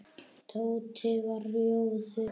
Tóti varð rjóður í framan.